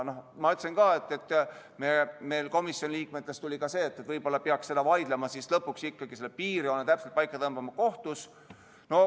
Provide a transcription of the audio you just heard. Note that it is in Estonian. Ma ütlesin ka, et komisjoni liikmetel tuli ka see mõte, et võib-olla peaks selle üle vaidlema ja lõpuks ikkagi selle piirjoone täpselt paika tõmbama kohtus.